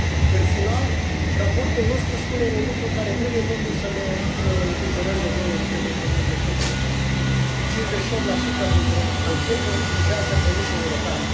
În final, raportul nostru spune un lucru care trebuie totuși să ne îngrijoreze domnule vicepreședinte Šefčovič 58 dintre anchete vizează Comisia Europeană.